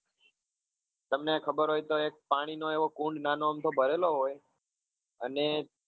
તમને ખબર હોય તો એક પાણી નો એવો કુંડ નાનો અમથો ભરેલો હોય અને